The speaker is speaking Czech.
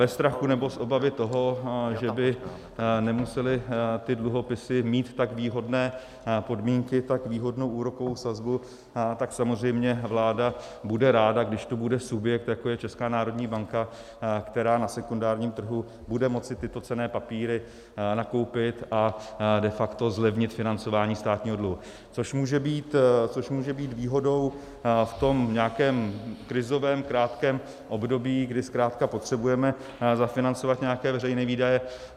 Ve strachu nebo z obavy toho, že by nemusely ty dluhopisy mít tak výhodné podmínky, tak výhodnou úrokovou sazbu, tak samozřejmě vláda bude ráda, když tu bude subjekt, jako je Česká národní banka, která na sekundárním trhu bude moci tyto cenné papíry nakoupit a de facto zlevnit financování státního dluhu, což může být výhodou v tom nějakém krizovém krátkém období, kdy zkrátka potřebujeme zafinancovat nějaké veřejné výdaje.